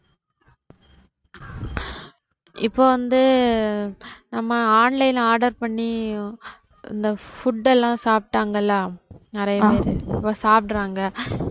இப்ப வந்து நம்ம online order பண்ணி இந்த food எல்லாம் சாப்டாங்கள்ல நிறைய பேர் இப்ப சாப்பிடுறாங்க